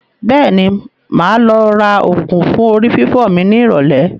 Bẹ́ẹ̀ni, máa lọ ra ògùn fún orí fífọ́ mi ní ìrọ̀lẹ́